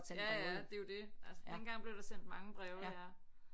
Ja ja det er jo det altså dengang blev der sendt mange breve ja